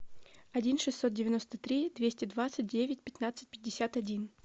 один шестьсот девяносто три двести двадцать девять пятнадцать пятьдесят один